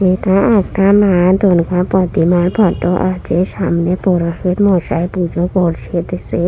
এটা একটা মা দুর্গা প্রতিমার ফটো আছে সামনে পুরোহিত মশাই পুজো করছে এ দৃশ্যে--